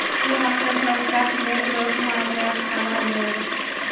Bu haqda poytaxt metrosi ma’muriyati xabar berdi .